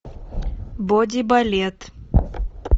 боди балет